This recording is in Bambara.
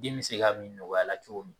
Den bɛ se k'a min nɔgɔya la cogo min